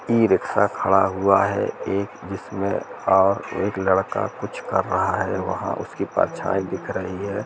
E rickshaw खड़ा हुआ है एक जिसमे और एक लड़का कुछ कर रहा है वहां उसकी परछाई दिख रही है।